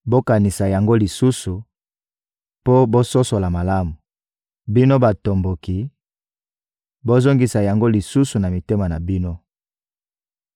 Bokanisa yango lisusu, mpo bososola malamu; bino batomboki, bozongisa yango lisusu na mitema na bino!